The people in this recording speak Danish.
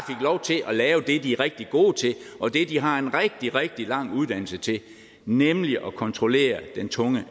lov til at lave det de er rigtig gode til og det de har en rigtig rigtig lang uddannelse i nemlig at kontrollere den tunge